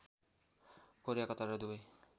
Korea Qatar र Dubai